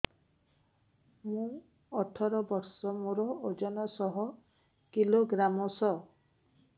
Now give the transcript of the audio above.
ମୁଁ ଅଠର ବର୍ଷ ମୋର ଓଜନ ଶହ କିଲୋଗ୍ରାମସ